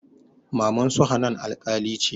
Mamansu hanan alƙali ce